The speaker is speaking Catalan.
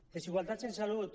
desigualtats en salut